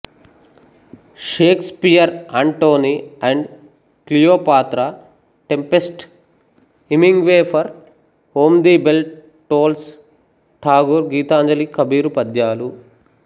Shakespeare Antony and Cleopatra Tempest Hemingway for whom the bell tolls Thakur Gitanjali Kabir పద్యాలు